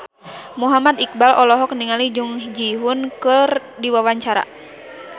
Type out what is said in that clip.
Muhammad Iqbal olohok ningali Jung Ji Hoon keur diwawancara